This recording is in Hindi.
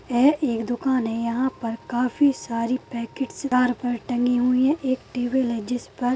यह एक दुकान है यहाँ पर काफी सारी पैकेट्स तार पर तंगी हुई है एक टेबल है जिस पर--